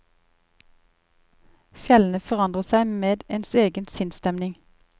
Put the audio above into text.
Fjellene forandrer seg med ens egen sinnsstemning.